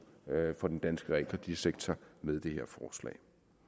for den danske realkreditsektor med det her forslag